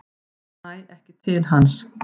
Næ ekki til hans.